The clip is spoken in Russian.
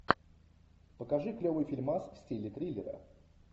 покажи клевый фильмас в стиле триллера